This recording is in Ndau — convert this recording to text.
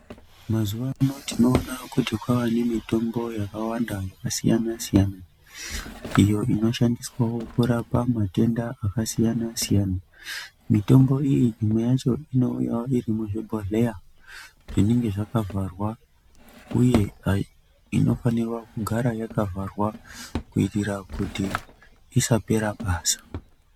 Mazuwano tinoona kuti kwawane mitombo yakawanda yakasiyana siyana iyo inoshandiswa kurapa matenda akasiyana siyana, mitombo imwe yacho inouyawo iri muzvimabhohleya zvinenge zvakavharwa uye inofanira kugara yakavharwa, kuitira kuti isapera basa.